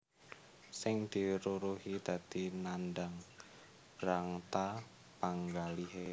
Sing diruruhi dadi nandhang brangta panggalihé